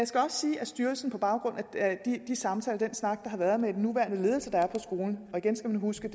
skal også sige at styrelsen på baggrund af de samtaler og den snak der har været med den nuværende ledelse på skolen og igen skal man huske